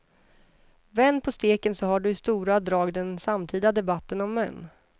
Vänd på steken så har du i stora drag den samtida debatten om män.